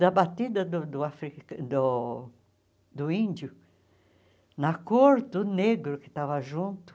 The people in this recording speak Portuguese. Da batida do do afri do do índio, na cor do negro que estava junto.